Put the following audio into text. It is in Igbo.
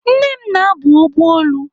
Nne m na-abụ ọbụ olu.